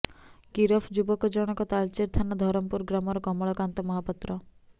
ଗିରଫ ଯୁବକଜଣକ ତାଳଚେର ଥାନା ଧରମପୁର ଗ୍ରାମର କମଳକାନ୍ତ ମହାପାତ୍ର